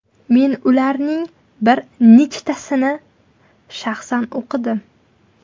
Men ularning bir nechtasini shaxsan o‘qidim.